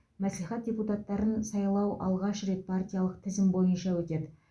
мәслихат депутаттарын сайлау алғаш рет партиялық тізім бойынша өтеді